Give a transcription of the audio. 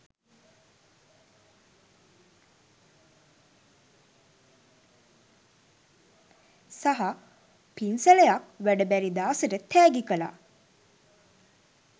සහ පින්සලයක් වැඩ බැරි දාසට තෑගි කලා.